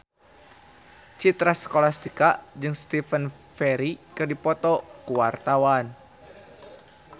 Citra Scholastika jeung Stephen Fry keur dipoto ku wartawan